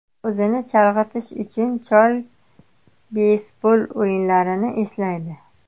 O‘zini chalg‘itish uchun, chol beysbol o‘yinlarini eslaydi.